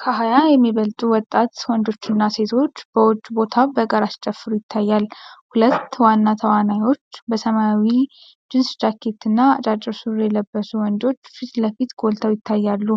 ከሃያ የሚበልጡ ወጣት ወንዶችና ሴቶች በውጭ ቦታ በጋራ ሲጨፍሩ ይታያል። ሁለት ዋና ተዋናዮች በሰማያዊ ጂንስ ጃኬት እና አጫጭር ሱሪ የለበሱ ወንዶች ፊት ለፊት ጎልተው ይታያሉ።